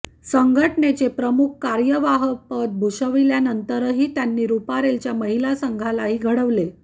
संघटनेचे प्रमुख कार्यवाह पद भूषविल्यानंतर त्यांनी रूपारेलच्या महिला संघालाही घडवले